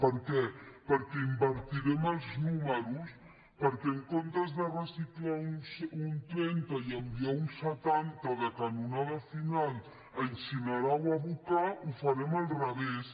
per què perquè invertirem els números perquè en comptes de reciclar un trenta i enviar un setanta de canonada final a incinerar o a abocar ho farem al revés